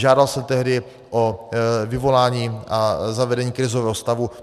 Žádal jsem tehdy o vyvolání a zavedení krizového stavu.